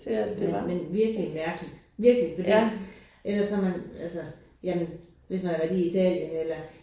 Men men virkelig mærkeligt virkelig fordi ellers så man altså jamen hvis man har været i Italien eller